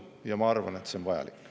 Ja ma arvan, et see on vajalik.